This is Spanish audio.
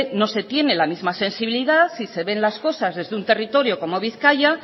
no se tiene la misma sensibilidad y se ven las cosas desde un territorio como bizkaia